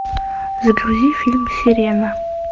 загрузи фильм сирена